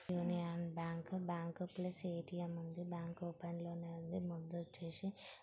ఒక union bank . Bank plus _ATM ఉంది. Bank open లోనే ఉంది. ముందొచ్చేసి--